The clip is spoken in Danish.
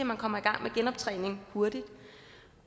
man kommer i gang med genoptræning hurtigt